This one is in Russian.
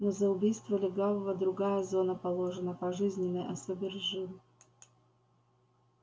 но за убийство лягавого другая зона положена пожизненное особый режим